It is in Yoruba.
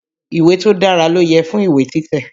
Ìwé tó dára ló yẹ fún ìwé títẹ̀.